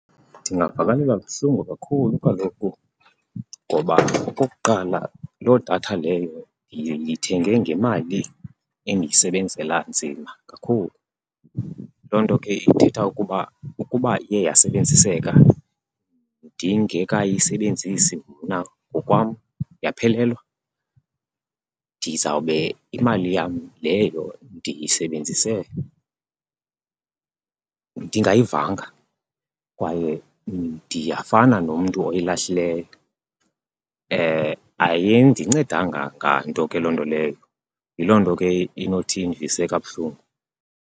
Ndingavakalelwa buhlungu kakhulu kaloku ngoba okokuqala loo datha leyo ndiyithenge ngemali endiyisebenzela nzima kakhulu. Loo nto ke ithetha ukuba ukuba iye yasebenziseka ndingekayisebenzisi mna ngokwam yaphelelwa, ndizawube imali yam leyo ndiyisebenzise ndingayivanga kwaye ndiyafana nomntu oyilahlileyo. Ayindincedanga nganto ke loo nto leyo, yiloo nto ke inothi indivise kabuhlungu.